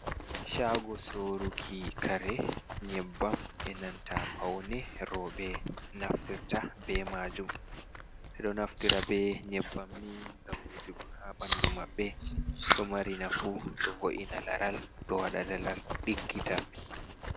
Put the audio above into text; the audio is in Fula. Caago soruki kare nyebbam e nanta pawne rooɓe naftirta bee maajum ɓe ɗo naftira bee nyebbam nii ngam wujugo haa ɓanndu ɓanndu maɓɓe, ɗo mari nafu ɗo vo’ina laral, ɗo waɗa laral ɗiggita.